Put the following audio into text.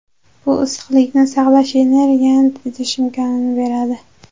Bu issiqlikni saqlash, energiyani tejash imkonini beradi.